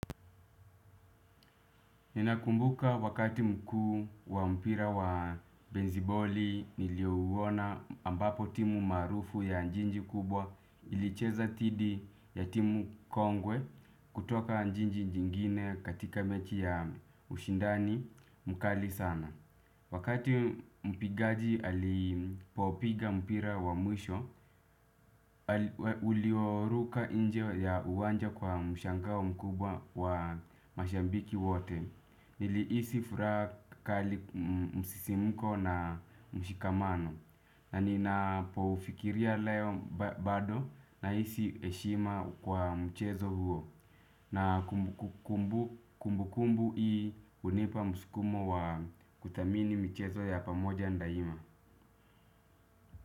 Ninakumbuka wakati mkuu wa mpira wa besiboli niliyouona ambapo timu marufu ya jiji kubwa ilicheza dhidi ya timu kongwe kutoka jiji jingine katika mechi ya ushindani mkali sana. Wakati mpigaji alipopiga mpira wa mwisho, ulioruka nje ya uwanja kwa mshangao mkubwa wa mashabiki wote. Nilihisi furaha kali msisimko na mshikamano. Na ninapofikiria leo bado nahisi heshima kwa mchezo huo. Na kumbukumbu hii hunipa msukumo wa kuthamini michezo ya pamoja ndaima.